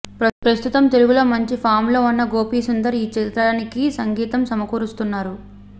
ప్రస్తుతం తెలుగులో మంచి ఫామ్లో ఉన్న గోపీ సుందర్ ఈ చిత్రానికి సంగీతం సమకూరుస్తున్నారు